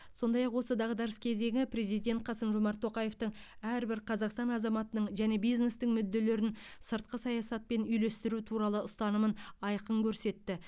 сондай ақ осы дағдарыс кезеңі президент қасым жомарт тоқаевтың әрбір қазақстан азаматының және бизнестің мүдделерін сыртқы саясатпен үйлестіру туралы ұстанымын айқын көрсетті